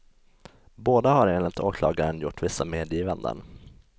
Båda har enligt åklagaren gjort vissa medgivanden.